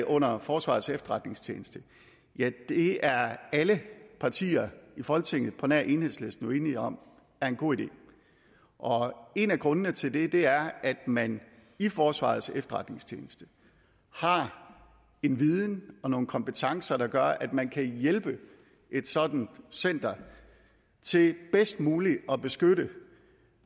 under forsvarets efterretningstjeneste det er alle partier i folketinget på nær enhedslisten jo enige om er en god idé og en af grundene til det det er at man i forsvarets efterretningstjeneste har en viden og nogle kompetencer der gør at man kan hjælpe et sådant center til bedst muligt at beskytte